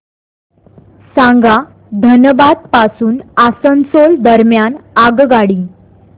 सांगा धनबाद पासून आसनसोल दरम्यान आगगाडी